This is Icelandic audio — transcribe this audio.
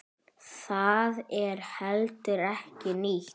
Það er heldur ekki nýtt.